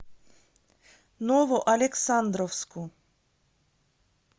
новоалександровску